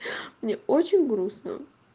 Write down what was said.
мне очень грустно